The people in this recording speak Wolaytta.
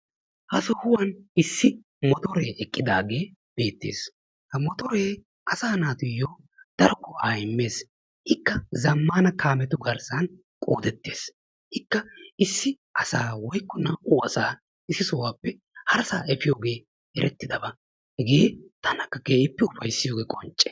Ha sohuwan issi motoree eqqidage beetees. Ha motoree asa naatuyo daro go'a immees. Ikka zammana kaametu garssan qoodetes. Ikka issi asa woykko naa'u asa issisape harassa efiyoge erettidaba. Hegee tanakka keehipe ufayssiyoge qoncce.